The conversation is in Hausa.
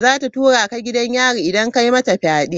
Za ta tura ka gidan yari idan ka yi mata fyade.